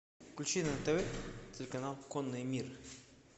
включи на тв телеканал конный мир